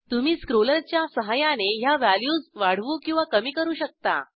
तुम्ही स्क्रोलरच्या सहाय्याने ह्या व्हॅल्यूज वाढवू किंवा कमी करू शकता